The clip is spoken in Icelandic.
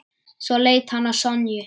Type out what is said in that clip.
Svo leit hann á Sonju.